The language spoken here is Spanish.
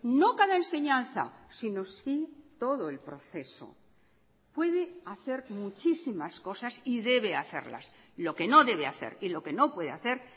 no cada enseñanza sino si todo el proceso puede hacer muchísimas cosas y debe hacerlas lo que no debe hacer y lo que no puede hacer